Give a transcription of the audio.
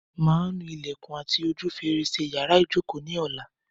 Màá nu ilẹ̀kùn àti ojú fèrèsé yàrá ìjokòó ni ọ̀la.